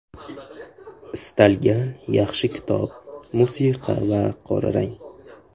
Istalgan yaxshi kitob, musiqa va qora rang.